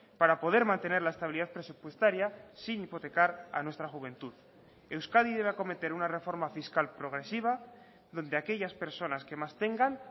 para poder mantener la estabilidad presupuestaria sin hipotecar a nuestra juventud euskadi debe acometer una reforma fiscal progresiva donde aquellas personas que más tengan